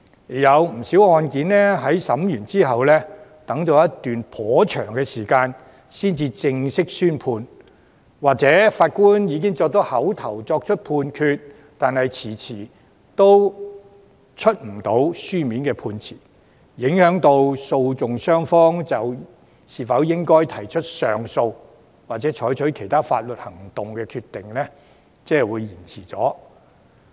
也有不少案件在審訊後頗長時間才正式宣判，又或是法官已經作出口頭判決，但遲遲未能發出書面判詞，令訴訟雙方提出上訴或採取其他法律行動的決定被拖延。